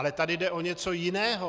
Ale tady jde o něco jiného.